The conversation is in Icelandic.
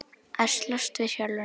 Að slást við sjálfan sig.